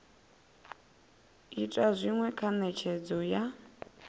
ita zwinwe kha netshedzo ya